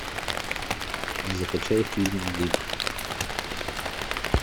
закачай фильм лимб